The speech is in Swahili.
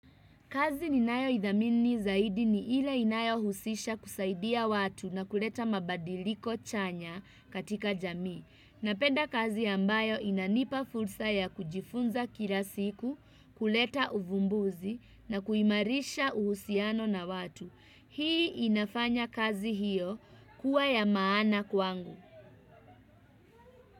Kazi ninayo idhamini zaidi ni ile inayo husisha kusaidia watu na kuleta mabadiliko chanya katika jamii na penda kazi ambayo inanipa fursa ya kujifunza kila siku, kuleta uvumbuzi na kuimarisha uhusiano na watu. Hii inafanya kazi hiyo kuwa ya maana kwangu.